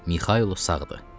Mixaylo sağdır!